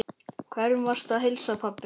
Hverjum varstu að heilsa, pabbi?